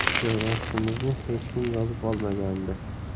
Joylashishimizni hech kim yozib olmagandi.